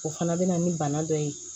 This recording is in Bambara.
O fana bɛ na ni bana dɔ ye